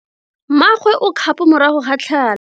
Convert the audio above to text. Mmagwe o kgapo morago ga tlhalo.